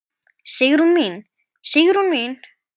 Sigrún mín, Sigrún mín.